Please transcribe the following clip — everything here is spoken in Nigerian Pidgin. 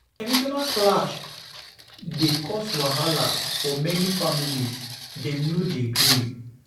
Generational clash dey cause wahala for many families; dem no dey agree.